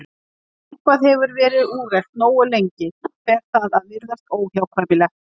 Þegar eitthvað hefur verið úrelt nógu lengi fer það að virðast óhjákvæmilegt.